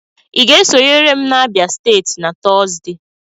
Ị ga-esonyere m na Abia steeti na Tọzdee?